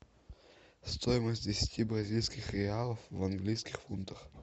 стоимость десяти бразильских реалов в английских фунтах